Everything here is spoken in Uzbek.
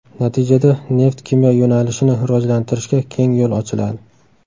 Natijada neft-kimyo yo‘nalishini rivojlantirishga keng yo‘l ochiladi.